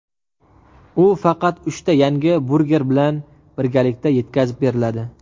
U faqat uchta yangi burger bilan birgalikda yetkazib beriladi.